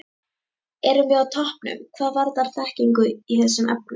Erum við á toppnum hvað varðar þekkingu í þessum efnum?